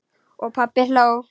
Og pabbi hló.